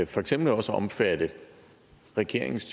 for eksempel også at omfatte regeringens